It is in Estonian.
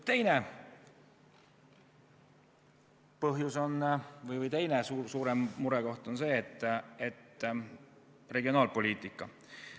Teine suurem murekoht on regionaalpoliitika.